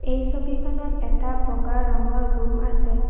এই ছবিখনত এটা বগা ৰঙৰ ৰুম আছে।